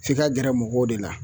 F'i ka gɛrɛ mɔgɔw de la